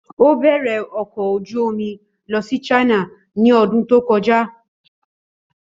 Ó bẹ̀rẹ̀ ọkọ̀ ojú omi lọ sí China ní ọdún tó kọjá.